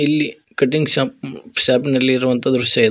ಇಲ್ಲಿ cutting shop ಶಾಪ್ನಲ್ಲಿ ಇರುವಂತ ದೃಶ್ಯ ಇದು.